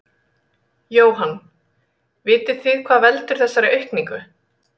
Jóhann: Vitið þið hvað veldur þessari aukningu?